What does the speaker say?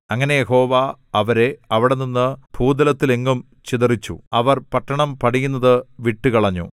അങ്ങനെ യഹോവ അവരെ അവിടെനിന്ന് ഭൂതലത്തിലെങ്ങും ചിതറിച്ചു അവർ പട്ടണം പണിയുന്നത് വിട്ടുകളഞ്ഞു